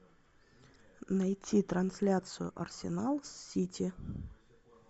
найти трансляцию арсенал с сити